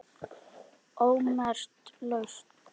ómerkt lausn